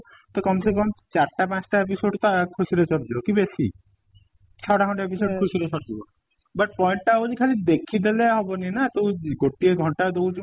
ତ ଚାରି ଟା ପାଞ୍ଚ ଟା episode ତ ଆ ଖୁସି ରେ ସରି ଯିବ କି ବେଶୀ ଛ ଟା ଖଣ୍ଡେ episode ଖୁସି ରେ ସରି ଯିବ but point ଟା ହଉଚି ଖାଲି ଦେଖି ଦେଲେ ହବନି ନା ତୁ ଗୋଟିଏ ଘଣ୍ଟା ଦଉଛୁ